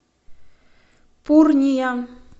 пурния